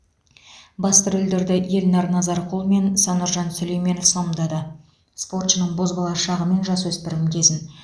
басты рөлдерді эльнар назарқұл мен сануржан сүлейменов сомдады спортшының бозбала шағы мен жасөспірім кезін